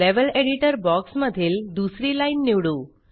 level editor box मधील दुसरी line निवडू